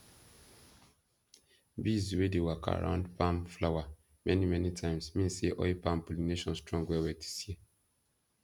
bees wey dey waka around palm flower many many times mean say oil palm pollination strong well well this year